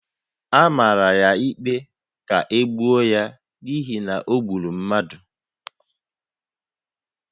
A mara ya ikpe ka e gbuo ya n’ihi na o gburu mmadụ